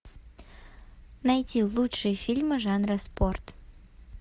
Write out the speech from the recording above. найти лучшие фильмы жанра спорт